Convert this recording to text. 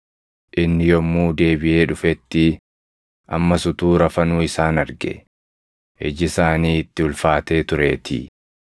Inni yommuu deebiʼee dhufetti, ammas utuu rafanuu isaan arge; iji isaanii itti ulfaatee tureetii.